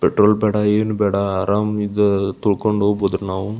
Petrol ಬೇಡ ಏನು ಬೇಡ ಅರಾಮ್ ಇದು ತಳ್ಕೊಂಡ್ ಹೋಗ್ಬಹುದು ನಾವು.